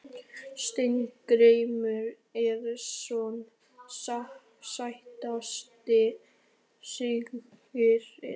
Steingrímur Eiðsson Sætasti sigurinn?